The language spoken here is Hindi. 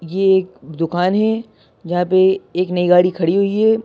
ये एक दुकान है जहाँ पे एक नई गाड़ी खड़ी हुई है।